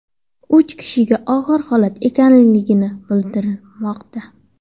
Uch kishi og‘ir holatda ekanligi bildirilmoqda.